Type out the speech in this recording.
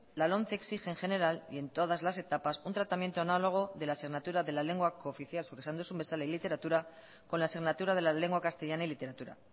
la lomce exige en general y en todas las etapas un tratamiento análogo de la asignatura de la lengua cooficial zuk esan duzun bezala y literatura con la asignatura de la lengua castellana y literatura